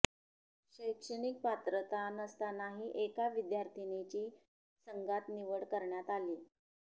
शैक्षणिक पात्रता नसतानाही एका विद्यार्थिनीची संघात निवड करण्यात आली